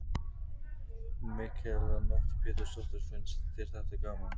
Mikaela Nótt Pétursdóttir: Finnst þér þetta gaman?